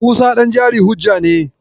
Musa ɗan jari hujja ne.